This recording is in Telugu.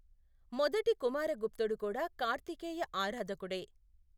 మొదటి కుమారగుప్తుడు కూడా కార్తికేయ ఆరాధకుడే.